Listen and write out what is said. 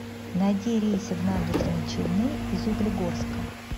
найди рейсы в набережные челны из углегорска